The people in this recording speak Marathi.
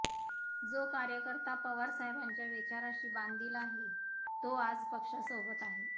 जो कार्यकर्ता पवार साहेबांच्या विचाराशी बांधील आहे तो आज पक्षासोबत आहे